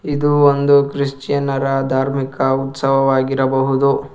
ಇದು ಒಂದು ಕ್ರಿಶ್ಚಿಯನ್ನರ ಧಾರ್ಮಿಕ ಉತ್ಸವ ವಾಗಿರಬಹುದು.